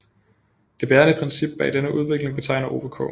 Det bærende princip bag denne udvikling betegner Ove K